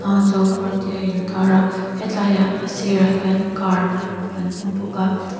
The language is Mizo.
hangzo park tih a intâr a he tlaiah a sîrah hian car kan hmu bawk a.